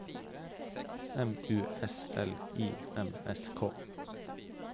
M U S L I M S K